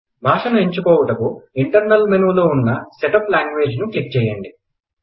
భాషను ఎంచుకోవుటకు ఇంటర్నల్ మెనులో ఉన్న సెట్అప్ ల్యాంగ్వేజ్ ను క్లిక్ చేయండి